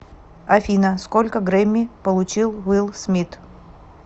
афина сколько грэмми получил уилл смит